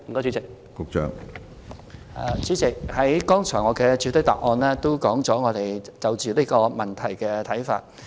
主席，我剛才也曾在主體答覆中提及我們對這個問題的看法。